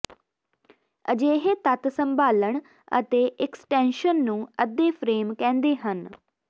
ਅਜਿਹੇ ਤੱਤ ਸੰਭਾਲਣ ਅਤੇ ਇਕਸਟੈਨਸ਼ਨ ਨੂੰ ਅੱਧੇ ਫਰੇਮ ਕਹਿੰਦੇ ਹਨ